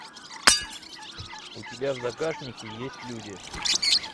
у тебя в загашнике есть люди